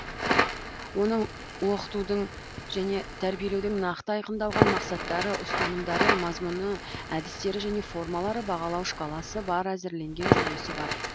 оның оқытудың және тәрбиелеудің нақты айқындалған мақсаттары ұстанымдары мазмұны әдістері және формалары бағалау шкаласы бар әзірленген жүйесі бар